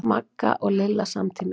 Magga og Lilla samtímis.